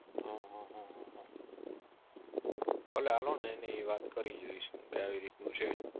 ભલે ને હાલો ને એને ઇ વાત કરી જોઈશું કે આવી રીત નું છે.